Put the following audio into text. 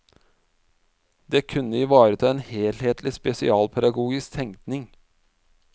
Det kunne ivareta en helhetlig spesialpedagogisk tenkning.